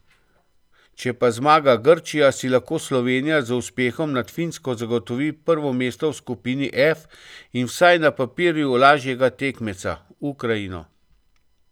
Če pa zmaga Grčija, si lahko Slovenija z uspehom nad Finsko zagotovi prvo mesto v skupini F in vsaj na papirju lažjega tekmeca, Ukrajino.